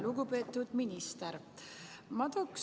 Lugupeetud minister!